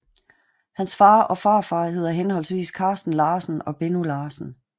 Hans far og farfar hedder henholdsvis Carsten Larsen og Benno Larsen